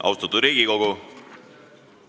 Austatud Riigikogu!